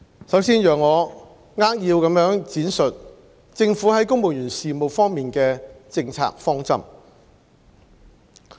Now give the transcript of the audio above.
首先，請讓我扼要地闡述政府在公務員事務方面的政策方針。